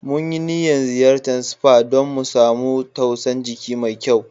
Mun yi niyan ziyacen spa dan mu samu tausan jiki mai kyau.